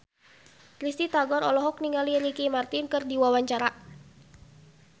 Risty Tagor olohok ningali Ricky Martin keur diwawancara